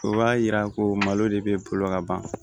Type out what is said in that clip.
O b'a yira ko malo de bɛ bolo ka ban